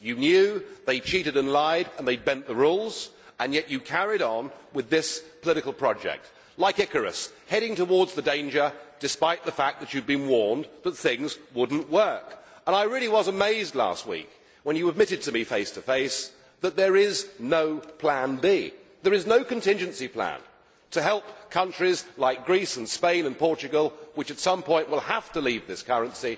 You knew they cheated and lied and they bent the rules and yet you carried on with this political project, like Icarus, heading towards the danger despite the fact that you had been warned that things would not work. And I really was amazed last week when you admitted to me face to face that there is no Plan B, there is no contingency plan to help countries like Greece and Spain and Portugal, which, at some point, will have to leave this currency.